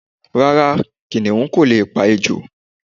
Rárá, kìniún ko leè pa ejò